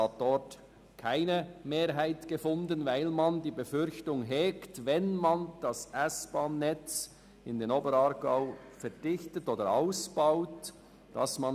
Dort fand es keine Mehrheit, weil man die Befürchtung hegt, die interregionalen Verbindungen zu gefährden, wenn das S-Bahn-Netz im Oberaargau verdichtet oder ausgebaut würde.